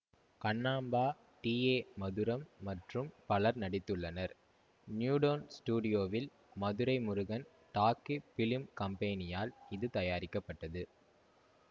Kannamba T A Madhuram மற்றும் பலர் நடித்துள்ளனர் நியூடோன் ஸ்டுடியோவில் மதுரை முருகன் டாக்கி பிலிம் கம்பெனியால் இது தயாரிக்கப்பட்டது